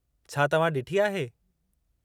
छा तव्हां ॾिठी आहे?